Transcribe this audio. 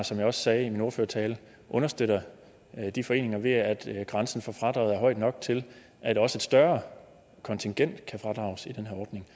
som jeg også sagde i min ordførertale understøtter de foreninger ved at grænsen for fradraget er høj nok til at også et større kontingent kan fradrages i den her ordning